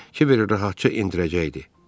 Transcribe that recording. ki bir rahatca endirəcəkdi.